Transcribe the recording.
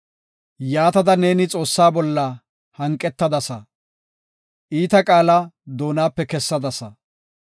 Yaatada neeni Xoossaa bolla hanqetadasa; iita qaala ne doonape kessadasa.